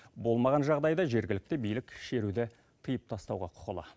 болмаған жағдайда жергілікті билік шеруді тыйып тастауға құқылы